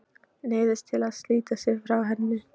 Neyðist til að slíta sig frá henni.